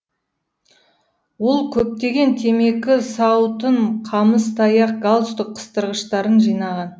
ол көптеген темекі сауытын қамыс таяқ галстук қыстырғыштарын жинаған